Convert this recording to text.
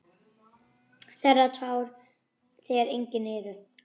Þerrar tár þegar engin eru.